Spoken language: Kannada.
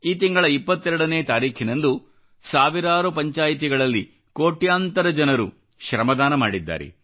ಈ ತಿಂಗಳ 22 ನೇ ತಾರೀಖಿನಂದು ಸಾವಿರಾರು ಪಂಚಾಯಿತಿಗಳಲ್ಲಿ ಕೋಟ್ಯಾಂತರ ಜನರು ಶ್ರಮದಾನ ಮಾಡಿದ್ದಾರೆ